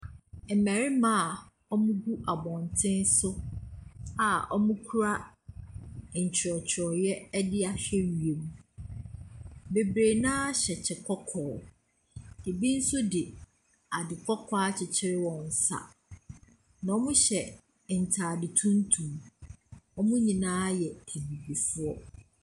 Mmarima a wɔgu abɔntene so a wɔkura ntwerɛtwerɛeɛ de ahwe wiem. Bebree no ara hyɛ ɛkyɛ kɔkɔɔ. Ɛbi nso de ade kɔkɔɔ akyekyere wɔn nsa. Wɔhyɛ ntade tuntum. Wɔn nyinaa yɛ Abibifoɔ.